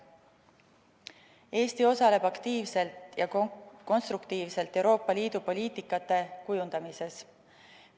Eesti osaleb aktiivselt ja konstruktiivselt Euroopa Liidu poliitika kujundamises.